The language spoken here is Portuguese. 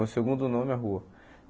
Meu segundo nome é rua.